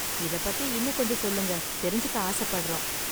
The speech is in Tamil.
இத பத்தி இன்னும் கொஞ்சம் சொல்லுங்க, தெரிஞ்சுக்க ஆசப்படறோம்.